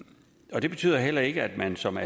og det betyder heller ikke at man som